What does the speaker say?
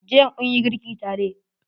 Jiya munyi girki tare.